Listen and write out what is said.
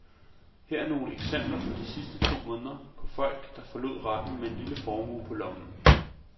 Her er nogle eksempler fra de sidste to måneder på folk, der forlod retten med en lille formue på lommen.